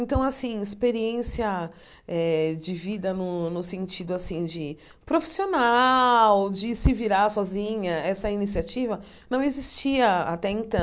Então assim, experiência eh de vida no no sentido assim de profissional, de se virar sozinha, essa iniciativa, não existia até